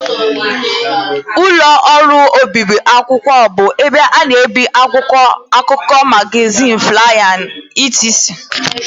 Ụlọ ọrụ obibi akwụkwọ bụ ebe a na-ebi akwụkwọ akụkọ, magazin, flaya wdg